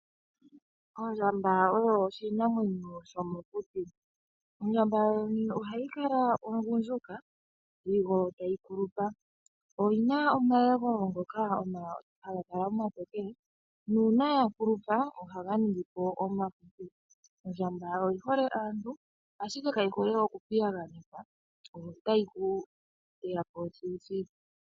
Ondjamba oyo oshinamwenyo shomokuti . Ondjamba yoyene ohayi kala ogundjuka sigo tayi kulupa . Oyina omayego ngoka haga kala omatokele nuuna ya kulupa ohaga ningipo omahupi . Ondjamba oyihole aantu ashike kayi hole oku piyaganekwa otayi ku teyapo thiluthilu.